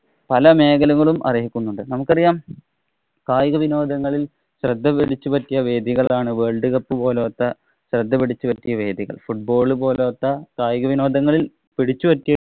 പല മേഖലകളും അര്‍ഹിക്കുന്നുണ്ട്. നമുക്കറിയാം കായിക വിനോദങ്ങളില്‍ ശ്രദ്ധ പിടിച്ചു പറ്റിയ വേദികളാണ് world cup പോലോത്ത ശ്രദ്ധ പിടിച്ചു പറ്റിയ വേദികള്‍. Football പോലോത്ത കയികവിനോദങ്ങളില്‍ പിടിച്ചു പറ്റിയ